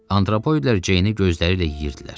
Antropoidlər Ceyni gözləri ilə yeyirdilər.